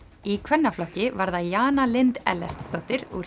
í kvennaflokki var það Jana Lind Ellertsdóttir úr